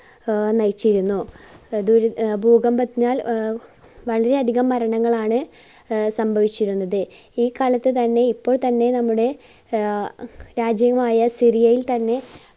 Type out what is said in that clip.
ആഹ് നയിച്ചിരുന്നു. അഹ് ഭൂക~ഭൂകമ്പത്തിനാൽ ആഹ് വളരെ അധികം മരണങ്ങളാണ് ആഹ് സംഭവിച്ചിരുന്നത്. ഈ കാലത്ത് തന്നെ ഇപ്പോൾ തന്നെ നമ്മുടെ ആഹ് രാജ്യമായ സിറിയയിൽ തന്നെ